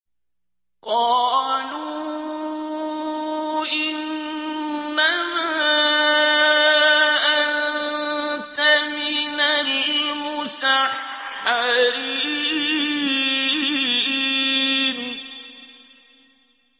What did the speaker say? قَالُوا إِنَّمَا أَنتَ مِنَ الْمُسَحَّرِينَ